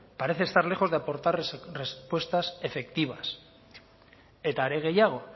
parece estar lejos de aportar respuestas efectivas eta are gehiago